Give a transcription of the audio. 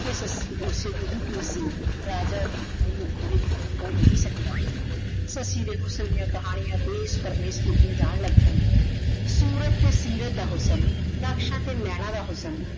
ਕੇ ਸੱਸੀ ਓਸੇ ਦੀ ਹੀ ਟੀ ਸੀ ਰਾਜਾ ਵੀ ਓਹਨੁ ਓਦੇ ਕੋਲੋਂ ਖੋ ਨਹੀ ਸਕਯ ਸੱਸੀ ਦੇ ਹੁਸਨ ਡਿਯਨ ਕਹਾਨਿਯਾਂ ਦੇਸ਼ ਪਰਦੇਸ਼ ਕਿਤਿਯਾਂ ਜਾਂ ਲਾਗ ਪੈਯਾਂ ਸੂਰਤ ਤੇ ਸੀਰਤ ਦਾ ਹੁਸਨ ਨਕਸ਼ਾਂ ਤੇ ਨੈਨਾ ਦਾ ਹੁਸ੍ਸਾਂ